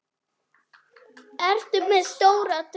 Ertu með stóra drauma?